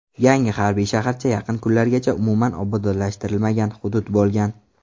Yangi harbiy shaharcha yaqin kunlargacha umuman obodonlashtirilmagan hudud bo‘lgan.